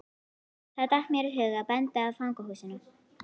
Þá datt mér í hug að benda á fangahúsið.